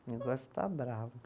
O negócio está bravo.